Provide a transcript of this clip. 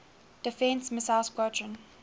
defense missile squadron